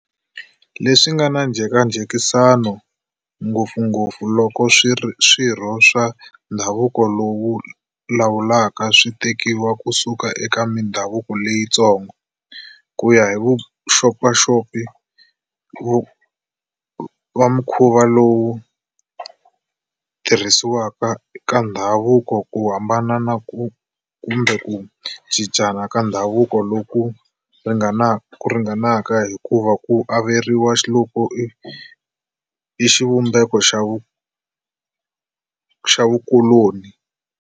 Leswi nga na njhekanjhekisano ngopfungopfu loko swirho swa ndhavuko lowu lawulaka swi tekiwa ku suka eka mindhavuko leyi tsongo. Kuya hi vaxopaxopi va mukhuva lowu tirhisiwa ka ndhavuko ka hambana kumbe ku cincana ka ndhavuko loku ringanaka hikuva ku averiwa loku i xivumbeko xa vukuloni.